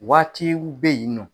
Waati u bɛ yen nɔ.